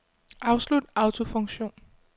Afslut autofunktion.